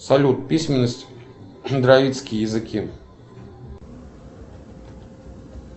салют письменность дравидские языки